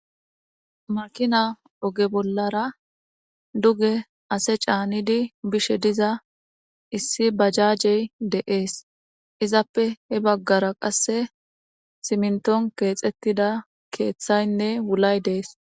Making oge bollara duge ase canidi bishe diza Issi bajajey de'ese izape he bagara qase siminton kexetida kethaynne wulay des